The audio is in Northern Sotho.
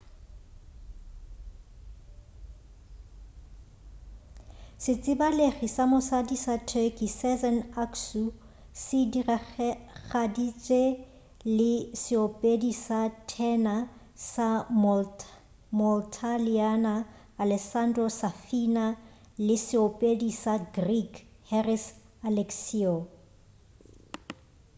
setsebalegi sa mosadi sa turkey sezen aksu se diragaditše le seopedi sa thena sa moitaliana alessandro safina le seopedi sa greek haris alexiou